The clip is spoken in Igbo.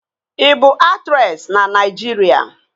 Ị bụ aktresị na Naịjirịa?